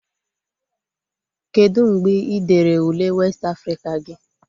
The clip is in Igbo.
Kedu mgbe ị dere Ule westị Afrịka gị?